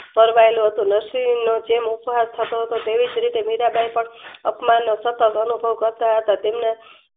fan ગયરલું હતું નરસિંહ નો જેમ ઉધર થયો હતો તેવી રીતે મીરાંબાઈ પણ અપ્નાનો અનુભવ કરતા હતા તેમના